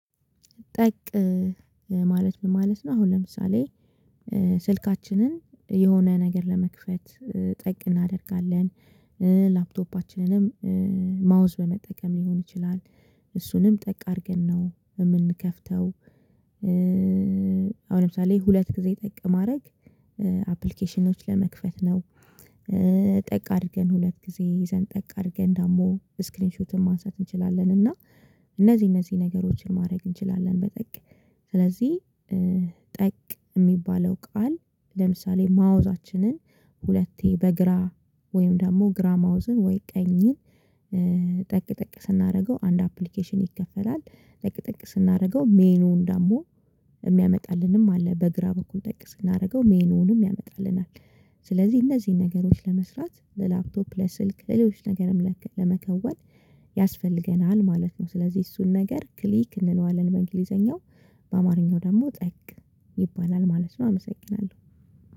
ጠቅ ማለት ምን ማለት ነው? አሁን ለምሳሌ ስልካችንን የሆነ ነገር ለመክፈት ጠቅ እናደርጋለን። ላፕቶፓችንንም ማውዝ በመጠቀም ሊሆን ይችላል እሱንም ጠቅ አድርገን ነው የምንከፍተው። አሁን ለምሳሌ ሁለት ጊዜ ጠቅ ማድረግ አፕሊኬሽኖች ለመክፈት ነው። ጠቅ አድርገን ሁለት ጊዜ ይዘን፤ ጠቅ አድርገን ደግሞ ስክሪን ሹትን ማንሳት እንችላለን እና እነዚህ እነዚህ ነገሮችን ማድረግ እንችላለን በጠቅ። ስለዚህ ጠቅ የሚባለው ቃል፤ ለምሳሌ ማውዛችንን ሁለቴ በግራ፤ ወይም ደግሞ ግራ ማውዝን፤ ወይም ቀኝን ጠቅ ጠቅ ስናደርገው አንድ አፕሊኬሽን ይከፈተል። ጠቅ ጠቅ ስናደርገው ሜኑ እንዳለ የሚያመጣልንም አለ። በግራ በኩል ጠቅ ስናደርገው ሜኑንም ያመጣልናል ስለዚህ እነዚህን ነገሮች ለመስራት ለላፕቶፕ ለስልክ ሌሎች ነገርም ለመከወን ያስፈልገናል ማለት ነው። ስለዚህ እሱን ነገር ክሊክ እንለዋለን በእንግሊዘኛው። በአማርኛ ደግሞ ጠቅ ይባላል ማለት ነው። አመሰግናለሁ።